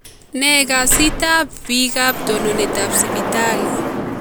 Ne kasit ap pik ap tononet ap Sipitali?